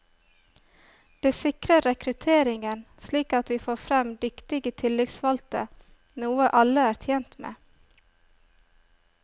Det sikrer rekrutteringen slik at vi får frem dyktige tillitsvalgte, noe alle er tjent med.